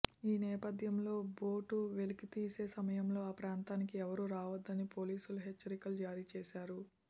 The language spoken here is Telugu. ఈ నేపథ్యంలో బోటు వెలికితీసే సమయంలో ఆ ప్రాంతానికి ఎవరూ రావొద్దని పోలీసులు హెచ్చరికలు జారీ చేశారు